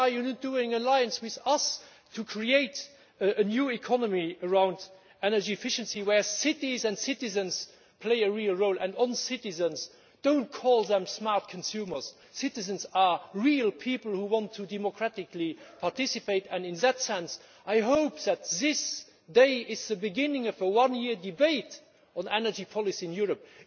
Why are you not making an alliance with us to create a new economy around energy efficiency, where cities and citizens play a real role? And on the subject of citizens do not call them smart consumers. Citizens are real people who want to democratically participate, and in that sense I hope that this day is the beginning of a one year debate on energy policy in Europe.